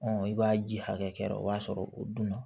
i b'a ji hakɛ kɛra o b'a sɔrɔ o dun na